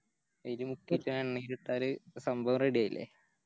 അയില് മുക്കിറ്റാ എണ്ണെലിട്ടാല് സംഭവം Ready ആയില്ലേ